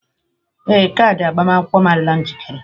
Ee, kaadị agbamakwụkwọ m adịla njikere.